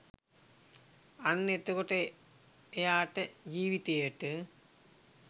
අන්න එතකොට එයාට ජීවිතයට